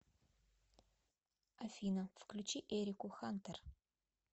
афина включи эрику хантер